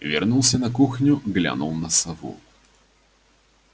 вернулся на кухню глянул на сову